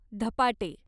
धपाटे